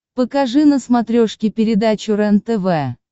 покажи на смотрешке передачу рентв